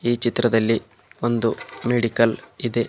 ಈ ಚಿತ್ರದಲ್ಲಿ ಒಂದು ಮೆಡಿಕಲ್ ಇದೆ.